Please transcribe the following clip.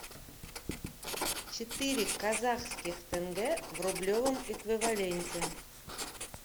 четыре казахских тенге в рублевом эквиваленте